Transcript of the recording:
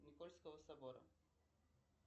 никольского собора